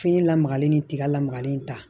Fini lamagalen ni tiga lamagalen ta